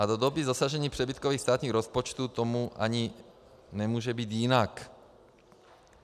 A do doby dosažení přebytkových státních rozpočtů tomu ani nemůže být jinak.